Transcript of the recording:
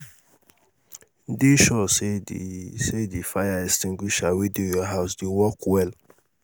dey sure sey di sey di fire extinguisher wey dey your house dey work well